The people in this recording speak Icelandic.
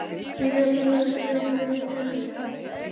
Lét í það skína að hann hefði mikið vit á bílum.